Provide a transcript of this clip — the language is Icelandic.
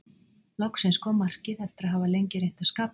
Loksins kom markið eftir að hafa lengi reynt að skapa eitthvað.